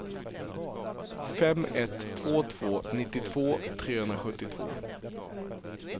fem ett två två nittiotvå trehundrasjuttiotvå